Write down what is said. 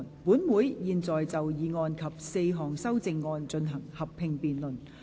本會現在就議案及4項修正案進行合併辯論。